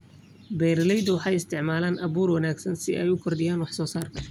Beeraleydu waxay isticmaalaan abuur wanaagsan si ay u kordhiyaan wax-soo-saarka.